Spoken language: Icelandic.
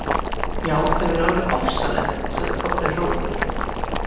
Já, þau eru alveg ofsaleg, sagði Kobbi hróðugur.